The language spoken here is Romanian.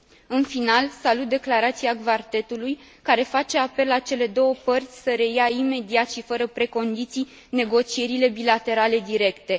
În final, salut declarația Quartetului care face apel la cele două părți să reia imediat și fără precondiții negocierile bilaterale directe.